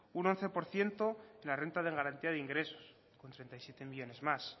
un once por ciento la renta de garantía de ingresos con treinta y siete millónes más